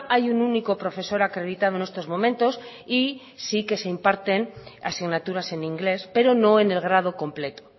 hay un único profesor acreditado en estos momentos y sí que se imparten asignaturas en inglés pero no en el grado completo